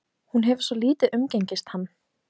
Hún hefur svo lítið umgengist hann.